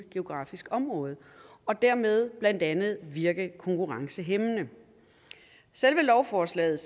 geografisk område og dermed blandt andet virker konkurrencehæmmende selve lovforslaget